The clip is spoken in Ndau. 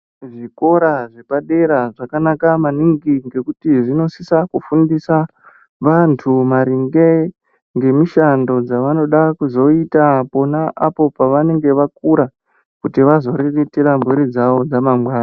Zvikora zvapa dera zvaka naka maningi ngekuti zvino sisa kufundisa vantu maringe ngemi shando dza vanoda kuzoita pona apo pavanenge vakura kuti vazo riritire muri dzavo dza mangwani.